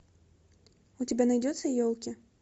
у тебя найдется елки